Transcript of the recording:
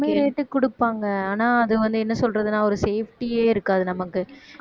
கம்மி rate க்கு கொடுப்பாங்க ஆனா அது வந்து என்ன சொல்றதுன்னா ஒரு safety ஏ இருக்காது நமக்கு